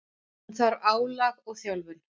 Hann þarf álag og þjálfun.